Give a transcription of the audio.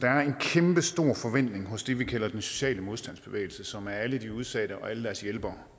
kæmpestor forventning hos det vi kalder den sociale modstandsbevægelse som er alle de udsatte og alle deres hjælpere